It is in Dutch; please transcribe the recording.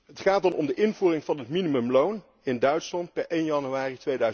Het gaat om de invoering van het minimumloon in Duitsland per 1 januari